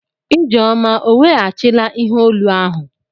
Ijeoma ọ weghachila ihe olu ahụ?